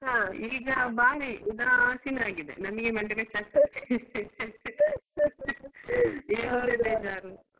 ಹ ಈಗ ಬಾರಿ ಉದಾಸೀನ ಆಗಿದೆ ನಮ್ಗೆ ಮಂಡೆ ಬೆಚ್ಚ ಆಗ್ತದೆ .